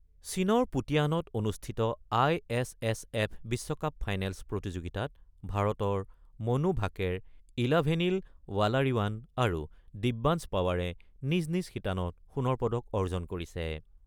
চীনৰ পুতিয়ানত অনুষ্ঠিত আই এছ এছ এফ বিশ্বকাপ ফাইনেলচ প্ৰতিযোগিতাত ভাৰতত মনু ভাকেৰ, ইলাভেনিল ৱালাৰিৱান আৰু দিব্যাঞ্চ পাৱাৰে নিজ নিজ শিতানত সোণৰ পদক অৰ্জন কৰিছে।